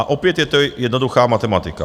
A opět je to jednoduchá matematika.